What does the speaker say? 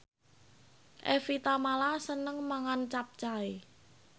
Evie Tamala seneng mangan capcay